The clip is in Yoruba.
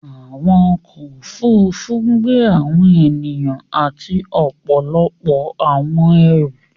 Awọn ọkọ̀ òfurufú ń gbẹ awọn ènìyàn àti ọpọlọpọ̀ awọn ẹ̀rú.